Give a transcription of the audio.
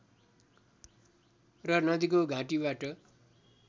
र नदीको घाटीबाट